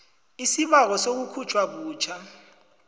isibawo sokukhutjhwa butjha